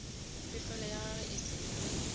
pefelo ya gago e se